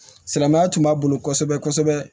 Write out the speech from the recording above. Silamɛya tun b'a bolo kosɛbɛ kosɛbɛ